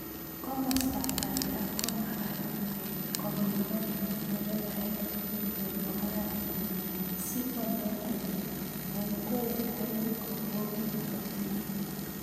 Komostab banda komagat kopiman nderebaek tugul eng oratinwek si konai kole maikwerie garit kobokitotin